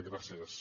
gràcies